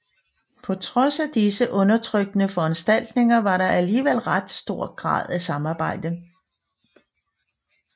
På trods af disse undertrykkende foranstaltninger var der alligevel ret stor grad af samarbejde